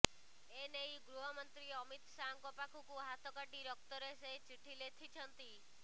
ଏନେଇ ଗୃହମନ୍ତ୍ରୀ ଅମିତ ଶାହଙ୍କ ପାଖକୁ ହାତ କାଟି ରକ୍ତରେ ସେ ଚିଠି ଲେଥିଛନ୍ତି